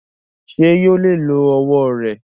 Ṣé yóò lè lo ọwọ rẹ?